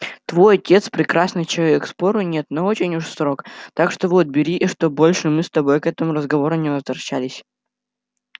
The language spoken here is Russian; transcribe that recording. твой отец прекрасный человек спору нет но очень уж строг так что вот бери и чтоб больше мы с тобой к этому разговору не возвращались